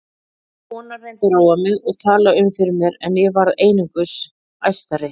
Konan reyndi að róa mig og tala um fyrir mér en ég varð einungis æstari.